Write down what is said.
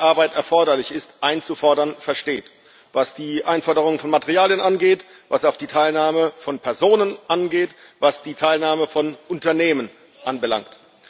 Arbeit erforderlich ist, einzufordern versteht was die Einforderung von Materialen angeht, was auch die Teilnahme von Personen angeht, was die Teilnahme von Unternehmen anbelangt.